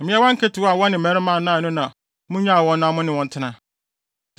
Mmeawa nketewa a wɔne mmarima nnae no na munnyaa wɔn na mo ne wɔn ntena.